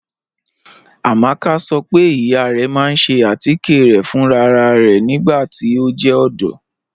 Amaka sọ pe iya rẹ ma n ṣe atikẹ rẹ fún ráràrá nigbati o jẹ ọdọ.